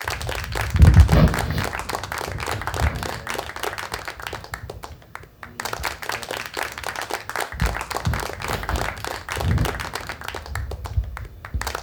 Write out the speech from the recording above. Injopo nkilani nanyunyuk